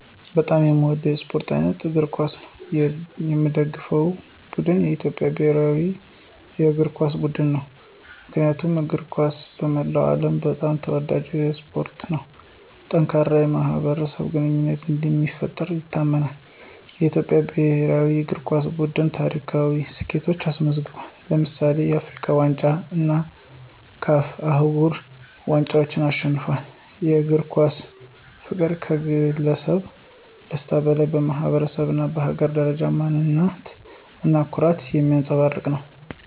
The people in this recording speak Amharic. በጣም የሚወደው የስፖርት አይነት እግር ኳስ ነው። የሚደገፈው ቡድን የኢትዮጵያ ብሔራዊ እግር ኳስ ቡድን ነው። ምክንያቱም እግር ኳስ በመላው ዓለም በጣም ተወዳጅ የሆነ ስፖርት ነው። ጠንካራ የማኅበረሰብ ግንኙነትን እንደሚፈጥር ይታመናል። የኢትዮጵያ ብሔራዊ እግር ኳስ ቡድን ታሪካዊ ስኬቶችን አስመዝግቧል። ለምሳሌ፣ የአፍሪካ ዋንጫን እና CAF አህጉራዊ ዋንጫን አሸንፏል። የእግር ኳስ ፍቅር ከግለሰብ ደስታ በላይ በማኅበረሰብ እና በሀገር ደረጃ ማንነት እና ኩራትን የሚያንፀባርቅ ነው።